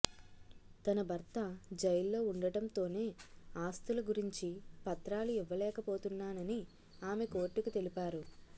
తన భర్త జైల్లో ఉండటంతోనే ఆస్తుల గురించి పత్రాలు ఇవ్వలేకపోతున్నానని ఆమె కోర్టుకు తెలిపారు